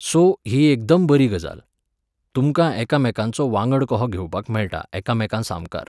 So, ही एकदम बरी गजाल. तुमकां एकामेकांचो वांगड कहो घेवपाक मेळटा एकामेकांसामकार.